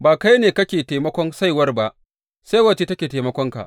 Ba kai ne kake taimakon saiwar ba, saiwar ce take taimakonka.